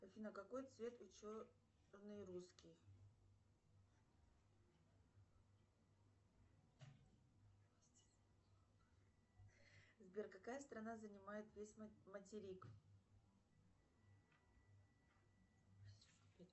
афина какой цвет у черный русский сбер какая страна занимает весь материк